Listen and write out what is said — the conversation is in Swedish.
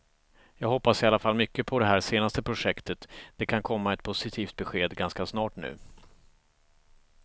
Jag hoppas i alla fall mycket på det här senaste projektet, det kan komma ett positivt besked ganska snart nu.